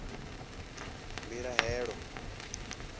mbilahelo